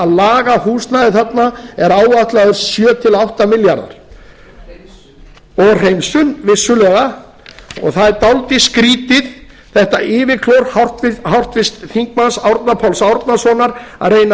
laga húsnæðið þarna er áætlaður sjö til átta milljarðar króna og hreinsun og hreinsun vissulega það er dálítið skrýtið þetta yfirklór háttvirtum þingmanni árna páls árnasonar að reyna